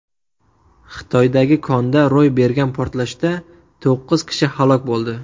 Xitoydagi konda ro‘y bergan portlashda to‘qqiz kishi halok bo‘ldi.